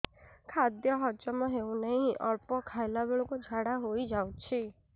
ଖାଦ୍ୟ ହଜମ ହେଉ ନାହିଁ ଅଳ୍ପ ଖାଇଲା ବେଳକୁ ଝାଡ଼ା ହୋଇଯାଉଛି